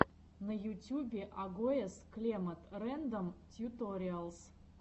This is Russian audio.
на ютюбе агоез клемод рэндом тьюториалс